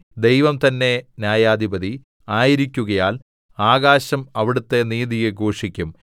ദൈവം തന്നെ ന്യായാധിപതി ആയിരിക്കുകയാൽ ആകാശം അവിടുത്തെ നീതിയെ ഘോഷിക്കും സേലാ